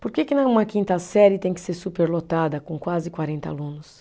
Por que que né, uma quinta série tem que ser superlotada com quase quarenta alunos?